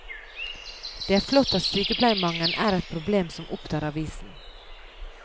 Det er flott at sykepleiermangelen er et problem som opptar avisen.